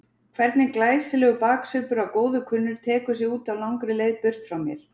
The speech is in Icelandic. Hvernig glæsilegur baksvipur að góðu kunnur tekur sig út á langri leið burt frá mér.